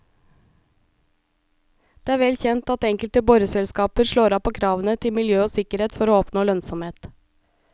Det er vel kjent at enkelte boreselskaper slår av på kravene til miljø og sikkerhet for å oppnå lønnsomhet.